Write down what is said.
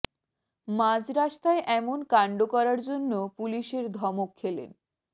মাঝ রাস্তায় এমন কাণ্ড করার জন্য পুলিশের ধমক খেলেন